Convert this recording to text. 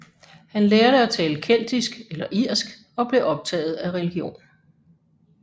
Han lærte at tale keltisk eller irsk og blev optaget af religion